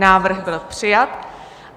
Návrh byl přijat.